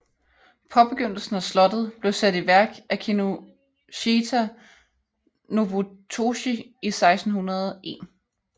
Påbegyndelsen af slottet blev sat i værk af Kinoshita Nobutoshi i 1601